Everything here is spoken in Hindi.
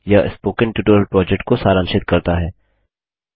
यह स्पोकन ट्यूटोरियल प्रोजेक्ट को सारांशित करता है